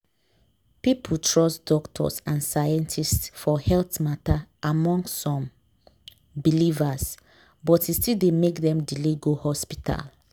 people trust doctors and scientists for health matter among some believers but e still dey make dem delay go hospital.